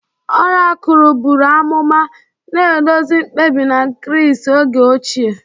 Orakul buru amụma, na-eduzi mkpebi na Gris oge ochie.